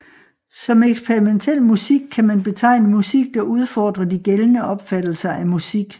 Som eksperimentel musik kan man betegne musik der udfordrer de gældende opfattelser af musik